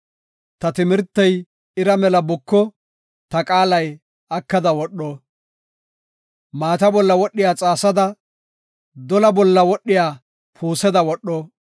Ta timirtey ira mela buko; ta qaalay akada wodho. Maata bolla wodhiya xaasada dola bolla wodhiya puuseda wodho.